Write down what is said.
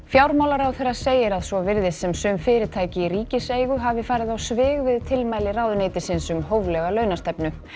fjármálaráðherra segir að svo virðist sem sum fyrirtæki í ríkiseigu hafi farið á svig við tilmæli ráðuneytisins um hóflega launastefnu